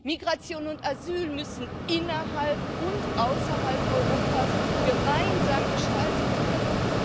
Migration und Asyl müssen innerhalb und außerhalb Europas gemeinsam gestaltet werden.